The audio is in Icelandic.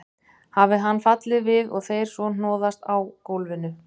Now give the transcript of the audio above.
Hafi hann fallið við og þeir svo hnoðast á gólfinu.